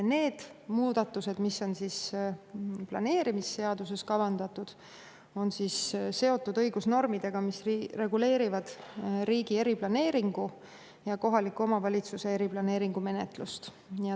Need muudatused, mis on planeerimisseaduses kavandatud, on seotud õigusnormidega, mis reguleerivad riigi eriplaneeringu ja kohaliku omavalitsuse eriplaneeringu menetlust.